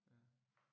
Ja